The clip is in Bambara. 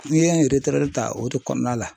N'i ye n ta o de kɔnɔna la .